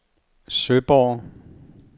Søborg